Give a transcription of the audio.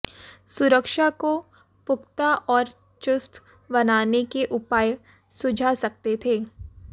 सुरक्षा को पुख्ता और चुस्त बनाने के उपाय सुझा सकते थे